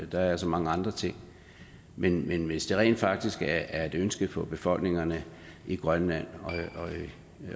der er så mange andre ting men men hvis det rent faktisk er et ønske fra befolkningerne i grønland